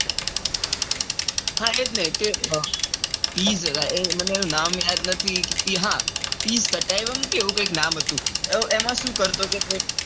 હા એજ ને કે મને એનું નામ યાદ નથી કે એવું નામ હતું. એમાં સુ કરતો હતો કે